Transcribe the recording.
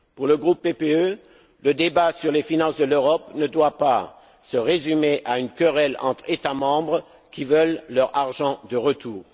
Pour le groupe PPE, le débat sur les finances de l'Europe ne doit pas se résumer à une querelle entre États membres qui veulent leur argent de retour.